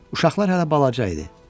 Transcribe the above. Uşaqlar hələ balaca idi.